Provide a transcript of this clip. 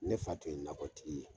Ne fa tun ye nakɔtigi ye.